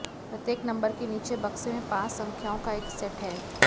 प्रत्येक नंबर के नीचे बक्से में पांच संख्याओं का एक सेट है